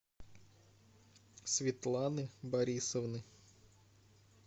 светланы борисовны